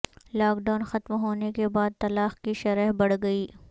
lock down ختم ہونے کے بعد طلاق کی شرح بڑھ گئی